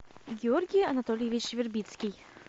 георгий анатольевич вербицкий